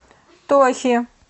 тохи